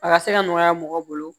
A ka se ka nɔgɔya mɔgɔ bolo